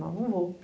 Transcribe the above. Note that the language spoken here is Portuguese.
Não, não vou.